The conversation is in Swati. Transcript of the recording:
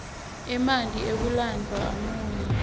emanti akulendzawo amunyu